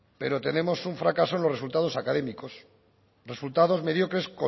pero tenemos un fracaso en los resultados académicos resultados mediocres